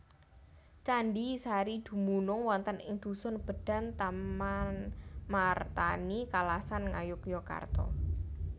Candhi Sari dumunung wonten ing dhusun Bendan Tamanmartani Kalasan Ngayogyakarta